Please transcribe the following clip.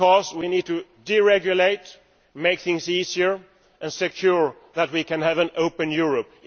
We need to deregulate, make things easier and ensure that we can have an open Europe.